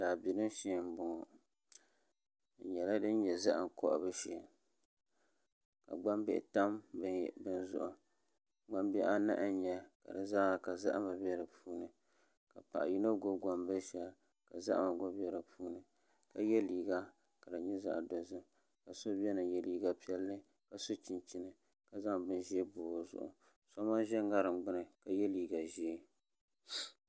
Daabilim shee n bɔŋɔ di nyɛla din nyɛ zaham kohabu shee ka gbambihi tam bini zuɣu gbambihi anahi n nyɛli ka dizaa zahama bɛ di puuni ka paɣa yino gbubi gbambili shɛli ka zaham gba bɛ di puuni ka yɛ liiga ka di nyɛ zaɣ dozim ka so biɛni n yɛ liiga piɛlli ka so chinchin ka zaŋ bin ʒiɛ bob o zuɣu so gba ʒɛ ŋarim gbuni ka zaŋ bini ʒiɛ bob o zuɣu